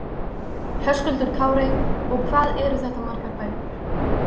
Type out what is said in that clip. Höskuldur Kári: Og hvað eru þetta margar bækur?